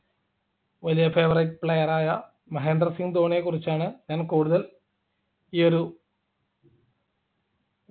വലിയ favourite player ആയ മഹേന്ദ്ര സിംഗ് ധോണിയെകുറിച്ചാണ് ഞാൻ കൂടുതൽ ഈ ഒരു